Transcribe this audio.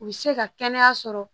U bɛ se ka kɛnɛya sɔrɔ